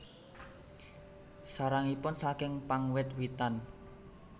Sarangipun saking pang wit witan